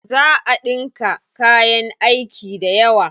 Za a ɗinka kayan aiki dayawa.